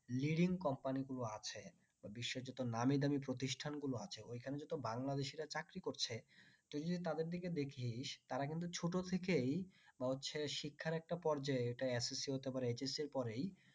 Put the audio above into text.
Leading company গুলো আছে বা বিশ্বের যত নামিদামী প্রতিষ্ঠান গুলো আছে ওই খানে যত বাংলাদেশীরা চাকরি করছে তুই যদি তাদের দিকে দেখিস তারা কিন্তু ছোট থেকেই বা হচ্ছে শিক্ষার একটা পর্যায় এটা SSC HS পরেই